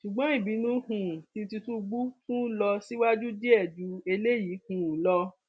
ṣùgbọn ìbínú um tí tìtúngbù tún lọ síwájú díẹ ju eléyìí um lọ